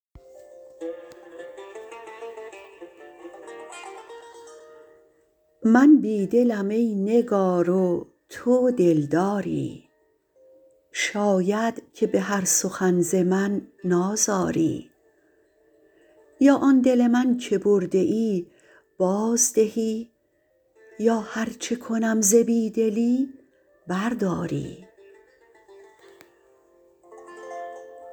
من بی دلم ای نگار و تو دلداری شاید که بهر سخن ز من نازاری یا آن دل من که برده ای بازدهی یا هر چه کنم ز بیدلی برداری